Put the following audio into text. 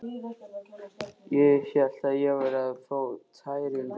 Ég hélt ég væri að fá tæringu.